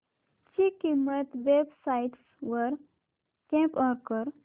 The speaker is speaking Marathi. ची किंमत वेब साइट्स वर कम्पेअर कर